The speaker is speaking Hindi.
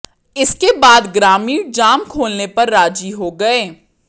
इसके बाद ग्रामीण जाम खोलने पर राजी हो गए